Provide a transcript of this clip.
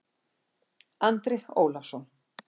Andri Ólafsson